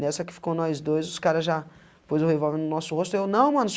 Nessa que ficou nós dois, os cara já... pôs, o revólver no nosso rosto, eu não, mano.